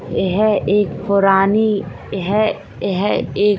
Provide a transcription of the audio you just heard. यह एक पुरानी यह यह एक --